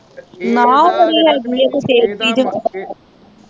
ਨਾ ਉਹ ਬੜੀ ਹੇਗੀ ਆ ਕੋਈ ਤੇਜ ਚੀਜ।